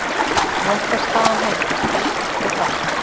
Réttarstaðan hefur því breyst nokkuð hratt.